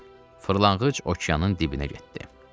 Fırlanqıc okeanın dibinə getdi.